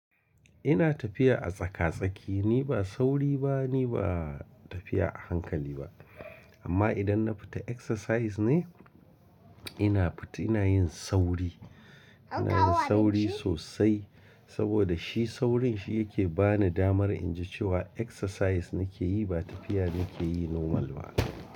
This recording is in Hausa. Ina tafiya a tsaka-tsaki. Ni ba sauri ba, ni ba tafiya a hankali ba. Amma idan na fita exercise ne, ina fit ina yin sauri. Ina yin sauri sosai saboda shi saurin shi yake ba ni damar in ji cewa exercise nake yi ba tafiya nake yi normal ba.